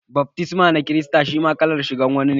Baftisma na kirista shi ma wani kallan shirgar wa ne.